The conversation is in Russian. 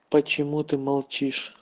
почему ты молчишь